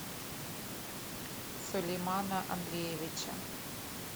сулеймана андреевича